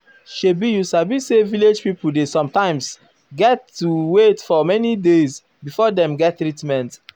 shebi you sabi say village pipo dey sometimes erm get to wait for many days before dem get treatment.